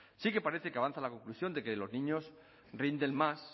sí que parece que avanza la conclusión de que los niños rinden más